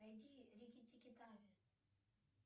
найди рикки тикки тави